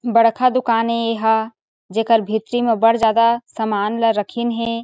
बड़खा दुकान ए एहा जेकार भीतरी में बड़ ज़ादा समान ला रखीन हे।